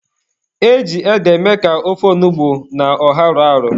E ji ede eme ka ofe onugbu na ọha rọọ arọ.